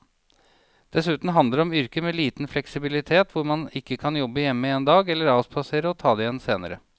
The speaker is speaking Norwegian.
Dessuten handler det om yrker med liten fleksibilitet hvor man ikke kan jobbe hjemme en dag eller avspasere og ta det igjen senere.